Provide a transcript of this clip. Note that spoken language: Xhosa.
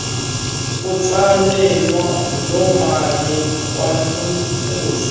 kutsalwe lomali khonukuze